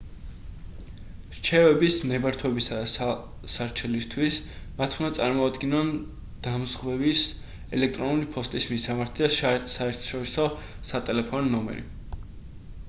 რჩევების/ნებართვებისა და სარჩელისთვის მათ უნდა წარმოადგინონ დამზღვევის ელექტრონული ფოსტის მისამართი და საერთაშორისო სატელეფონო ნომერი